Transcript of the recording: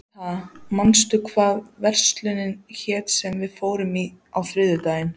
Ríta, manstu hvað verslunin hét sem við fórum í á þriðjudaginn?